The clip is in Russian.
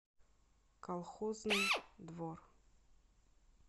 колхозный двор